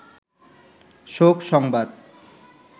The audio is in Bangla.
শোক সংবাদ